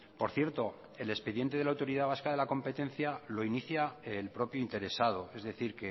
por cierto el expediente de la autoridad vasca de la competencia lo inicia el propio interesado es decir